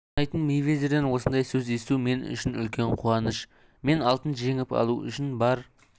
санайтын мейвезерден осындай сөз есту мен үшін үлкен қуаныш мен алтын жеңіп алу үшін бар